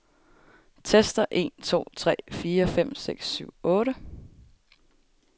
Tester en to tre fire fem seks syv otte.